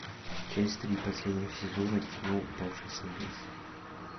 часть три последнего сезона кино упавший с небес